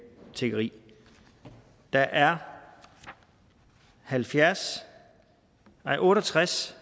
tiggeri der er halvfjerds nej otte og tres